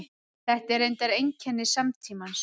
Þetta er reyndar einkenni samtímans.